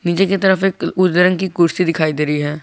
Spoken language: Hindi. नीचे की तरफ एक उजले रंग की कुर्सी दिखाई दे रही है।